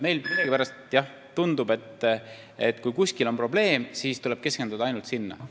Meile millegipärast tundub, et kui kuskil on probleem, siis tuleb keskenduda ainult sinna.